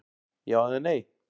Já eða nei?